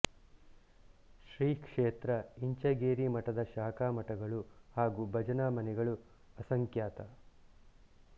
ಶ್ರೀ ಕ್ಷೇತ್ರ ಇಂಚಗೇರಿ ಮಠದ ಶಾಖಾ ಮಠಗಳು ಹಾಗೂ ಭಜನಾ ಮನೆಗಳು ಅಸಂಖ್ಯಾತ